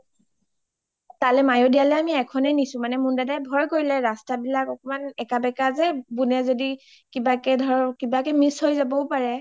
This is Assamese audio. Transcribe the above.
তালে মায়োদিয়ালৈ আমি এখনে নিচো মানে মোন দাদাই ভই কৰিলে ৰাস্তা বিলাক একমান একা বেকা যে বুনে যদি কিবাকে miss হয় যাবওঁ পাৰে